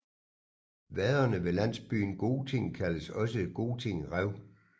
Vaderne ved landsbyen Goting kaldes også for Goting Rev